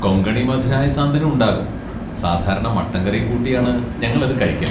കൊങ്കണി മധുരായ സാന്തനും ഉണ്ടാകും, സാധാരണ മട്ടൻ കറിയും കൂട്ടിയാണ് ഞങ്ങളത് കഴിക്കൽ.